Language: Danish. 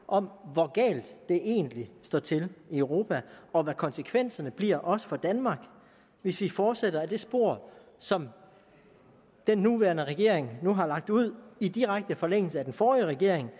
om hvor galt det egentlig står til i europa og hvad konsekvenserne bliver også for danmark hvis vi fortsætter ad det spor som den nuværende regering nu har lagt ud i direkte forlængelse af den forrige regering